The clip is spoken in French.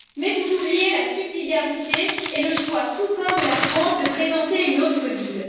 Vous oubliez la subsidiarité et le choix souverain de la France de présenter une autre ville.